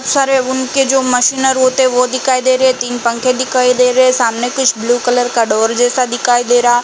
सारे उन के जो मशीनर होते हे वो दिखाई दे रहे। तीन पंखे दिखाई दे रहे सामने कुछ ब्लू कलर का डोर जैसा दिखाई दे रहा।